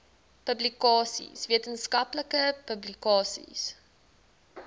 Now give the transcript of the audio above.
publikasies wetenskaplike publikasies